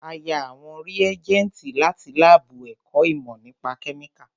A yá àwọn rìégẹ́ntì láti lábù ẹ̀kọ́ ìmọ́ nípa kẹ́míkà